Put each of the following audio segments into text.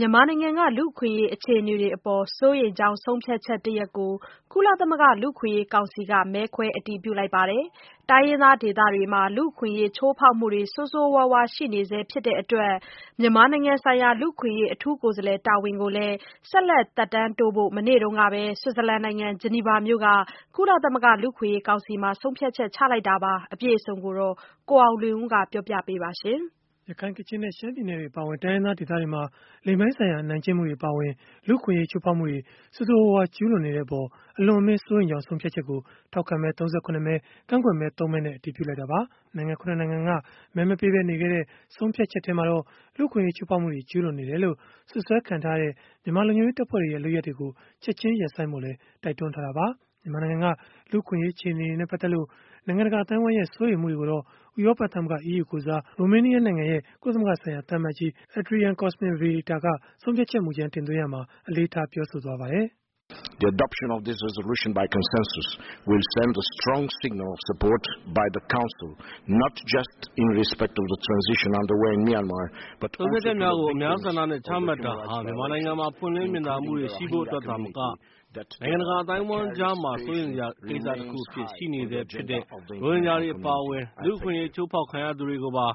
မြန်မာနိုင်ငံက လူ့အခွင့်အရေး အခြေအနေတွေအပေါ် စိုးရိမ်ကြောင်း ဆုံးဖြတ်ချက်တရပ်ကို ကုလသမဂ္ဂ လူ့အခွင့်အရေးကောင်စီက မဲခွဲအတည်ပြုလိုက်ပါတယ်။ တိုင်းရင်းသားဒေသတွေမှာ လူ့အခွင့်အရေး ချိုးဖောက်မှုတွေ ဆိုးဆိုးရွားရွား ရှိနေဆဲ ဖြစ်တဲ့အတွက် မြန်မာနိုင်ငံဆိုင်ရာ လူ့အခွင့်အရေး အထူးကိုယ်စားလှယ် တာဝန်ကိုလည်း ဆက်လက်သက်တမ်းတိုးဖို့ မနေ့တုန်းကပဲ ဆွစ်ဇာလန်နိုင်ငံ ဂျနီဗာမြို့က ကုလသမဂ္ဂ လူ့အခွင့်အရေးကောင်စီမှာ ဆုံးဖြတ်လိုက်တာပါ။ အပြည့်အစုံကိုတော့ ကိုအောင်လွင်ဦးက ပြောပြပေးမှာ ဖြစ်ပါတယ်။ ရခိုင်၊ ကချင်နဲ့ ရှမ်းပြည်နယ်တွေ အပါအဝင် တိုင်းရင်းသား ဒေသတွေမှာ လိင်ပိုင်းဆိုင်ရာ အနိုင်ကျင့်မှုတွေ အပါအဝင် လူ့အခွင့်အရေး ချိုးဖောက်မှုတွေ ဆိုးဆိုးရွားရွား ကျူးလွန်နေတဲ့အပေါ် အလွန်အမင်း စိုးရိမ်ကြောင်း ဆုံးဖြတ်ချက်ကို ထောက်ခံမဲ ၃၇ မဲ၊ ကန့်ကွက်မဲ ၃ မဲနဲ့ အတည်ပြုလိုက်တာပါ။ နိုင်ငံ ၇ နိုင်ငံက မဲမပေးဘဲ နေခဲ့တဲ့ ဆုံးဖြတ်ချက်ထဲမှာတော့ လူ့အခွင့်အရေး ချိုးဖောက်မှုတွေ ကျူးလွန်နေတယ်လို့ စွပ်စွဲခံထားရတဲ့ မြန်မာလုံခြုံရေးတပ်ဖွဲ့တွေရဲ့ လုပ်ရပ်တွေကို ချက်ခြင်းရပ်ဆိုင်းဖို့လည်း တိုက်တွန်းထားတာပါ။ မြန်မာနိုင်ငံက လူ့အခွင့်အရေး အခြေအနေတွေနဲ့ ပတ်သက်လို့ နိုင်ငံတကာ အသိုင်းအဝန်းရဲ့ စိုးရိမ်မှုတွေကိုတော့ ဥရောပသမဂ္ဂ (EU) ကိုယ်စား ရိုမေးနီးယားနိုင်ငံရဲ့ ကုလသမဂ္ဂဆိုင်ရာ သံအမတ်ကြီး Adrian Cosmin Vierita က ဆုံးဖြတ်ချက်မူကြမ်း တင်သွင်းရာမှာ အလေးထား ပြောဆိုသွားပါတယ်။ “ဆုံးဖြတ်ချက်ကို အများဆန္ဒနဲ့ ချမှတ်တာဟာ မြန်မာနိုင်ငံမှာ ပွင့်လင်းမြင်သာမှုတွေ ရှိဖို့အတွက်သာမက နိုင်ငံတကာ အသိုင်းအဝန်းကြားမှာ စိုးရိမ်စရာ ကိစ္စတခုအဖြစ် ရှိနေဆဲဖြစ်တဲ့ ရိုဟင်ဂျာတွေအပါအဝင် လူ့အခွင့်အရေး ချိုးဖောက်ခံရသူတွေကိုပါ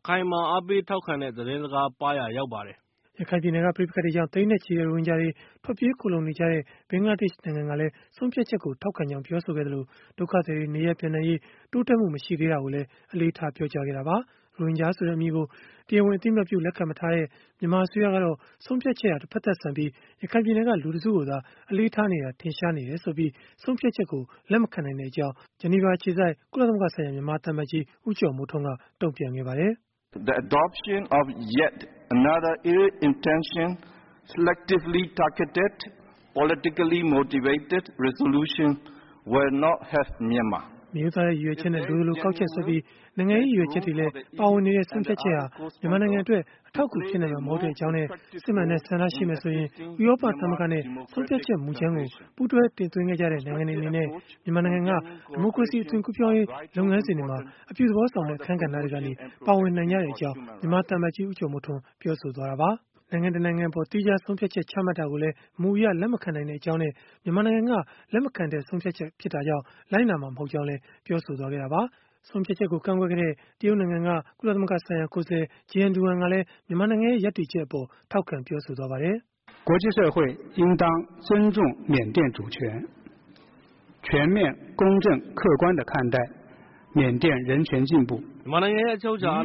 အခိုင်အမာ အားပေးထောက်ခံတဲ့ သတင်းစကားပါးရာ ရောက်ပါတယ်။” ရခိုင်ပြည်နယ်က ပဋိပက္ခတွေကြောင့် သိန်းနဲ့ချီတဲ့ ရိုဟင်ဂျာတွေ ထွက်ပြေးခိုလှုံနေကြတဲ့ ဘင်္ဂလားဒေ့ရှ်နိုင်ငံကလည်း ဆုံးဖြတ်ချက်ကို ထောက်ခံကြောင်း ပြောဆိုခဲ့သလို ဒုက္ခသည်တွေ နေရပ်ပြန်နိုင်ရေး တိုးတက်မှု မရှိသေးတာကိုလည်း အလေးထား ပြောကြားခဲ့တာပါ။ ရိုဟင်ဂျာဆိုတဲ့ အမည်ကို တရားဝင် အသိအမှတ်ပြု လက်ခံမထားတဲ့ မြန်မာအစိုးရကတော့ ဆုံးဖြတ်ချက်ဟာ တဖက်သတ်ဆန်ပြီး ရခိုင်ပြည်နယ်က လူတစုကိုသာ အလေးထားနေတာ ထင်ရှားနေတယ်ဆိုပြီး ဆုံးဖြတ်ချက်ကို လက်မခံနိုင်တဲ့အကြောင်း ဂျနီဗာအခြေစိုက် ကုလသမဂ္ဂဆိုင်ရာ မြန်မာသံအမတ်ကြီး ဦးကျော်မိုးထွန်းက တုံ့ပြန်ခဲ့ပါတယ်။ “မရိုးသားတဲ့ ရည်ရွယ်ချက်နဲ့ လိုသလိုကောက်ချက်ဆွဲပြီး နိုင်ငံရေး ရည်ရွယ်ချက်တွေလည်း ပါဝင်နေတဲ့ ဆုံးဖြတ်ချက်ဟာ မြန်မာနိုင်ငံအတွက် အထောက်အကူ ဖြစ်နိုင်မှာ မဟုတ်ပါဘူး။ စစ်မှန်တဲ့ ဆန္ဒရှိမယ်ဆိုရင် ဥရောပသမဂ္ဂနဲ့ ဆုံးဖြတ်ချက်မူကြမ်းကို ပူးတွဲတင်သွင်းခဲ့ကြတဲ့ နိုင်ငံတွေ အနေနဲ့ မြန်မာနိုင်ငံက ဒီမိုကရေစီ အသွင်ကူးပြောင်းရေး လုပ်ငန်းစဉ်တွေမှာ အပြုသဘောဆောင်တဲ့ အခန်းကဏ္ဍတွေကနေ ပါဝင်နိုင်ကြမှာ ဖြစ်ပါတယ်။” နိုင်ငံတနိုင်ငံ အပေါ် သီးခြားဆုံးဖြတ်ချက် ချမှတ်တာကိုလည်း မူအရလက်မခံနိုင်ကြောင်းနဲ့ မြန်မာနိုင်ငံက လက်မခံတဲ့ ဆုံးဖြတ်ချက် ဖြစ်တာကြောင့် လိုက်နာမှာ မဟုတ်ကြောင်းလည်း ပြောဆိုခဲ့တာပါ။ ဆုံးဖြတ်ချက်ကို ကန့်ကွက်ခဲ့တဲ့ တရုတ်နိုင်ငံက ကုလသမဂ္ဂဆိုင်ရာ ကိုယ်စားလှယ် Jiang Duan ကလည်း မြန်မာနိုင်ငံရဲ့ ရပ်တည်ချက်အပေါ် ထောက်ခံပြောဆိုသွားပါတယ်။ “မြန်မာနိုင်ငံရဲ့ အချုပ်အခြာ အာ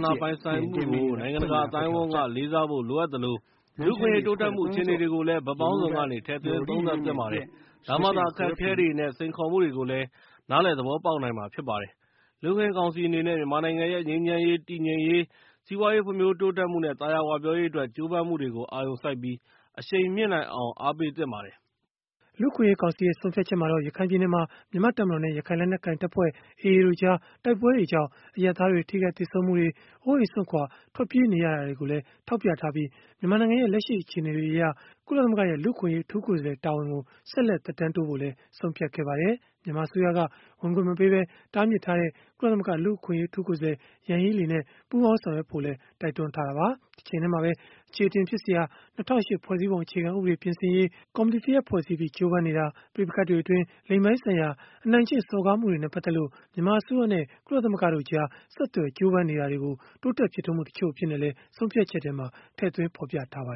ဏာပိုင်ဆိုင်မှုကို နိုင်ငံတကာ အသိုင်းအဝန်းက လေးစားဖို့ လိုအပ်သလို၊ လူ့အခွင့်အရေး တိုးတက်မှု အခြေအနေတွေကိုလည်း ဘက်ပေါင်းစုံကနေ ထည့်သွင်းသုံးသပ်သင့်ပါတယ်။ ဒါမှသာ အခက်အခဲတွေနဲ့ စိန်ခေါ်မှုတွေကိုလည်း နားလည်သဘောပေါက်နိုင်မှာ ဖြစ်ပါတယ်။ လူ့အခွင့်အရေး ကောင်စီ အနေနဲ့ မြန်မာနိုင်ငံရဲ့ ငြိမ်းချမ်းရေး၊ တည်ငြိမ်ရေး၊ စီးပွားရေး ဖွံ့ဖြိုးတိုးတက်မှုနဲ့ သာယာဝပြောရေးအတွက် ကြိုးပမ်းမှုတွေကို အာရုံစိုက်ပြီး အရှိန်မြှင့်နိုင်အောင် အားပေးသင့်ပါတယ်။” လူ့အခွင့်အရေးကောင်စီရဲ့ ဆုံးဖြတ်ချက်မှာတော့ ရခိုင်ပြည်နယ်မှာ မြန်မာ့တပ်မတော်နဲ့ ရခိုင်လက်နက်ကိုင်တပ်ဖွဲ့ (AA) တို့ကြား တိုက်ပွဲတွေကြောင့် အရပ်သားတွေ ထိခိုက်သေဆုံးမှုတွေ၊ အိုးအိမ်စွန့်ခွာ ထွက်ပြေးနေရတာတွေကိုလည်း ထောက်ပြထားပြီး မြန်မာနိုင်ငံရဲ့ လက်ရှိအခြေအနေတွေအရ ကုလသမဂ္ဂရဲ့ လူ့အခွင့်အရေး အထူးကိုယ်စားလှယ် တာဝန်ကို ဆက်လက် သက်တမ်းတိုးဖို့လည်း ဆုံးဖြတ်ခဲ့ပါတယ်။ မြန်မာအစိုးရက ဝင်ခွင့်မပေးပဲ တားမြစ်ထားတဲ့ ကုလသမဂ္ဂ လူ့အခွင့်အရေး အထူးကိုယ်စားလှယ် Yanghee Lee နဲ့ ပူးပေါင်းဆောင်ရွက်ဖို့လည်း တိုက်တွန်းထားတာပါ။ တချိန်တည်းမှာပဲ အချေအတင်ဖြစ်စရာ ၂၀၀၈ ဖွဲ့စည်းပုံအခြေခံဥပဒေ ပြင်ဆင်ရေး ကော်မတီတရပ် ဖွဲ့စည်းပြီး ကြိုးပမ်းနေတာ၊ ပဋိပက္ခတွေအတွင်း လိင်ပိုင်းဆိုင်ရာ အနိုင်ကျင့်စော်ကားမှုတွေနဲ့ ပတ်သက်လို့ မြန်မာအစိုးရနဲ့ ကုလသမဂ္ဂကြား ဆက်သွယ် ကြိုးပမ်းလာတာတွေကိုတော့ တိုးတက်ဖြစ်ထွန်းမှု တချို့အဖြစ်နဲ့လည်း ထည့်သွင်းဖော်ပြထားပါ